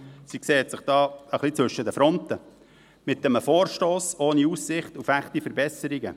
Sie sieht sich da ein wenig zwischen den Fronten – mit einem Vorstoss ohne Aussicht auf echte Verbesserungen.